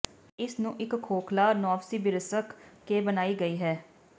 ਅਤੇ ਇਸ ਨੂੰ ਇੱਕ ਖੋਖਲਾ ਨੋਵਸਿਬਿਰ੍ਸ੍ਕ ਕੇ ਬਣਾਈ ਗਈ ਹੈ